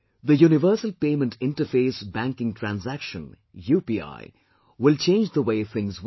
The 'Universal Payment Interface' banking transaction UPI will change the way things work